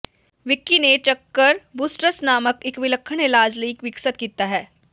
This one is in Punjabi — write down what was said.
ਵਿਕੀ ਨੇ ਚੱਕਰ ਬੂਸਟਰਸ ਨਾਮਕ ਇਕ ਵਿਲੱਖਣ ਇਲਾਜ ਲਈ ਵਿਕਸਤ ਕੀਤਾ ਹੈ